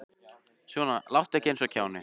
Svona láttu ekki eins og kjáni.